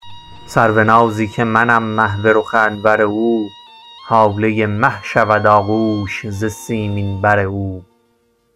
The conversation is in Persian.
سرونازی که منم محو رخ انور او هاله مه شود آغوش ز سیمین بر او